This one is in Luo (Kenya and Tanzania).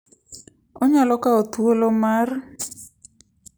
Onyalo kawo thuolo mar,